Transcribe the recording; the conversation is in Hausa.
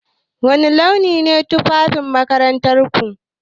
Wani launi ne tufafin makarantarku?